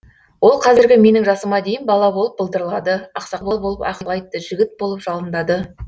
ол қазіргі менің жасыма дейін бала болып былдырлады ақсақал болып ақыл айтты жігіт болып жалындады